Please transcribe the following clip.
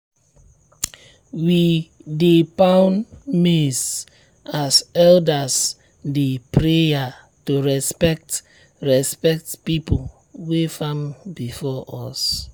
we dey pound maize as elders dey prayer to respect respect people wey farm before us.